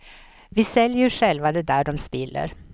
Vi säljer ju själva det där dom spiller.